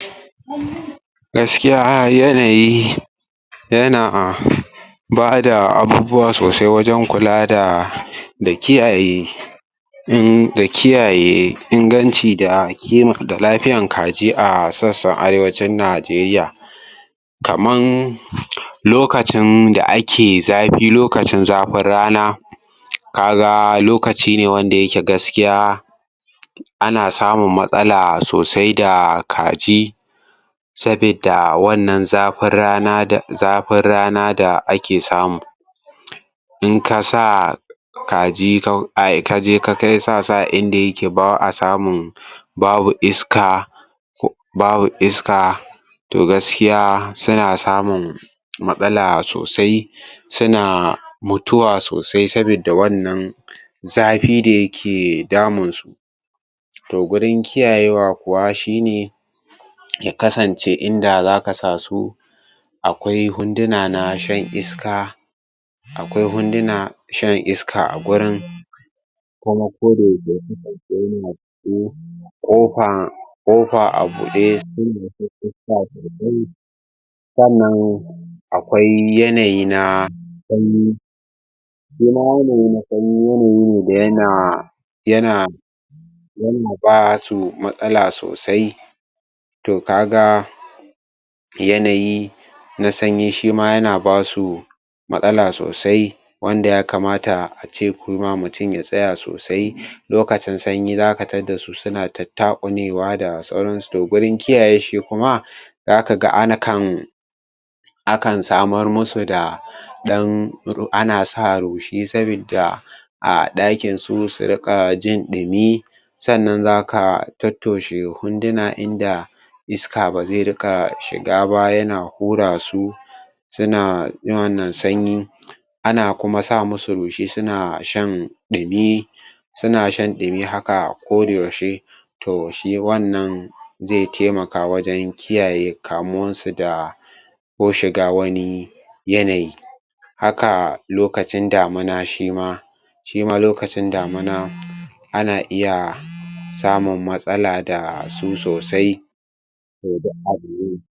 Gaskiyar yanayi yana a ba da abubuwa sosai wajen kula da kiyaye da kiyaye inganci da lafiyar kaji a sassan Arewacin Najeriya. kaman lokacin da ake zafi lokacin zafin rana ka ga lokacine wanda yake gaskiya ana samunmatsala sosai da kaji sabidda wannan zafin rana zafin rana da ake samu in ka sa kaji ka kai sa su a in da ba a samun iska, ko babu isaka to gaskiya suna samun matsala sosai suna mutuwa sosai saboda wannan zafin da yake damunsu. gurin kiyayewa ya kasance inda za ka sa su akwai wunduna na shan iska akwai wundunan shan iska a wurin kuma kodayaushe ya kasance yana cikin ƙofa ƙofa a buɗe sannan akwai yanayi na sanyi shi ma yanayi na sanyi yanayi ne da yana yana yana ba su matsala sosai to ka ga yanayi na sanyi shi ma yana ba su matsala sosai wanda ya kamata kuma a ce mutum ya tsaya sosai lokacin sanyi za ka tadda su suna tattaƙunewa to wurin kiyayewa shi ma za ka ga akan aka samar musu da ɗan ru ana sa rushi sabidda a ɗakin su su riƙa jin ɗumi, sannan za ka tottoshe wunduna in da iska ba zai riƙa shiga ba yana hura su suna irin wannan sanyi ana kuma sa musu rushi suna shan ɗumi suna shan ɗumi haka kodayaushe to shi wannan zai taimaka wajen kiyaye kamuwarsu da ko shiga wani yanayi haka lokacin damina shima shi ma lokacin damina ana iya samun matsala da su sosai